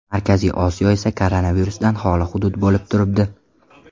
Markaziy Osiyo esa koronavirusdan holi hudud bo‘lib turibdi.